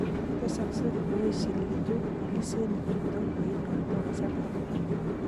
Tesaksei koechelitu alisenik chutok yeinoktoi kasarta